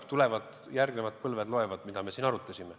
Ja tulevad järgmised põlved ja loevad, mida me siin arutasime.